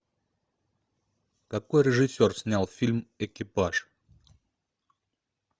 какой режиссер снял фильм экипаж